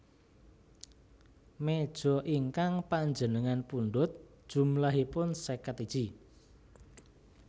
Mejo ingkang panjenengan pundhut jumlahipun seket iji